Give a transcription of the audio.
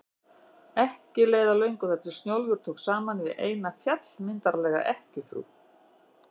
Og ekki leið á löngu þar til Snjólfur tók saman við eina, fjallmyndarlega ekkjufrú